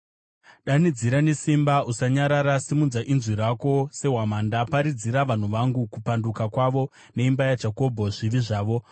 “Danidzira nesimba, usanyarara. Simudza inzwi rako sehwamanda. Paridzira vanhu vangu kupanduka kwavo, neimba yaJakobho zvivi zvavo.